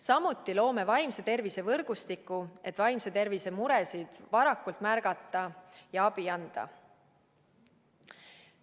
Samuti loome vaimse tervise võrgustiku, et vaimse tervise muresid varakult märgata ja abi anda.